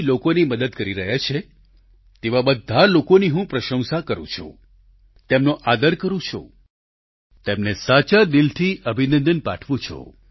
લોકોની મદદ કરી રહ્યા છે તેવા બધા લોકોની હું પ્રશંસા કરું છું તેમનો આદર કરું છું તેમને સાચા દિલથી અભિનંદન પાઠવું છું